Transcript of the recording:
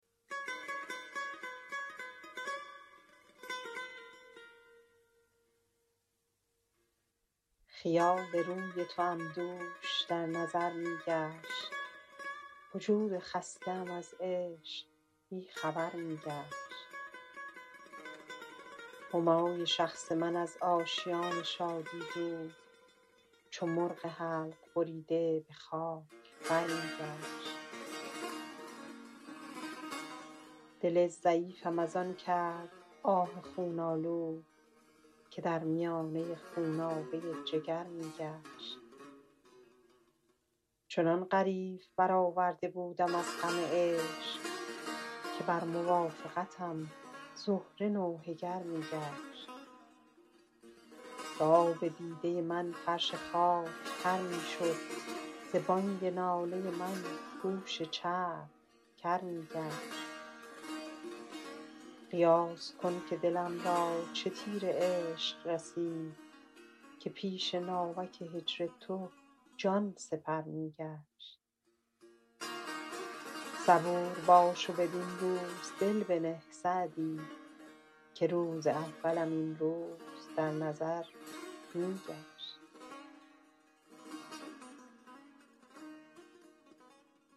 خیال روی توام دوش در نظر می گشت وجود خسته ام از عشق بی خبر می گشت همای شخص من از آشیان شادی دور چو مرغ حلق بریده به خاک بر می گشت دل ضعیفم از آن کرد آه خون آلود که در میانه خونابه جگر می گشت چنان غریو برآورده بودم از غم عشق که بر موافقتم زهره نوحه گر می گشت ز آب دیده من فرش خاک تر می شد ز بانگ ناله من گوش چرخ کر می گشت قیاس کن که دلم را چه تیر عشق رسید که پیش ناوک هجر تو جان سپر می گشت صبور باش و بدین روز دل بنه سعدی که روز اولم این روز در نظر می گشت